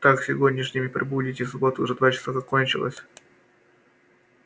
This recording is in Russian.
так сегодняшним и прибудете суббота уже два часа как кончилась